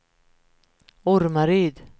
Ormaryd